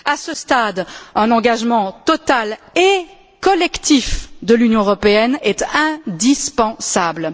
À ce stade, un engagement total et collectif de l'Union européenne est indispensable.